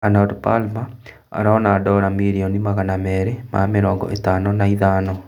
Arnold Palmer arona dora mirioni magana merĩ ma mĩrongo ĩtano na ithano